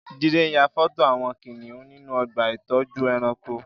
Jide n yà fọtó awọn kiniùn ninú ọ̀gbà itọjú ẹ̀rãnkó